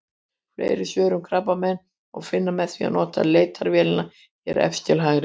Fleiri svör um krabbamein má finna með því að nota leitarvélina hér efst til hægri.